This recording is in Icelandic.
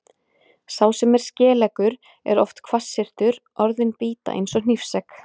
Sá sem er skeleggur er oft hvassyrtur, orðin bíta eins og hnífsegg.